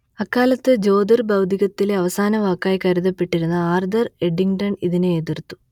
അക്കാലത്ത് ജ്യോതിർ ഭൗതികത്തിലെ അവസാന വാക്കായി കരുതപ്പെട്ടിരുന്ന ആർതർ എഡിങ്ട്ടൺ ഇതിനെ എതിർത്തു